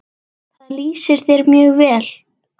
Það lýsir þér mjög vel.